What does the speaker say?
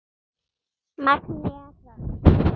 Magnea Hrönn.